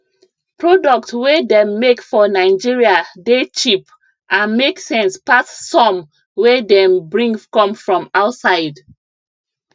product wey dem make for nigeria dey cheap and make sense pass some wey dem bring come from outside